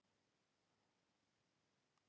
Hún opnar eitt herbergjanna.